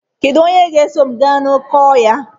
Kedu onye ga-eso m gaa n'oké ọhịa?